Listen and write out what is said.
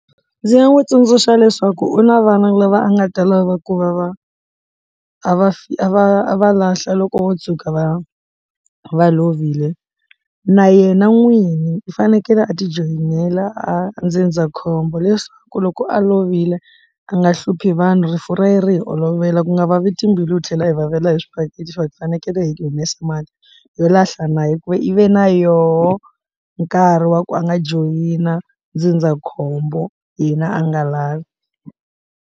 Ndzi nga n'wi tsundzuxa leswaku u na vana lava a nga ta lava ku va va a va a va a va lahla loko vo tshuka va va lovile na yena n'wini u fanekele a ti joyinile a ndzindzakhombo leswaku loko a lovile a nga hluphi vanhu rifu ra ye ri hi olovela ku nga vavi timbilu hi tlhela hi vavela hi swibakele so hi fanekele hi ku humesa mali yo lahla na hikuva i ve na yoho nkarhi wa ku a nga joyina ndzindzakhombo hina a nga lavi.